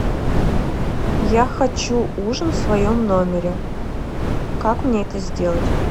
я хочу ужин в своем номере как мне это сделать